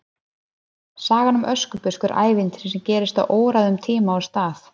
sagan um öskubusku er ævintýri sem gerist á óræðum tíma og stað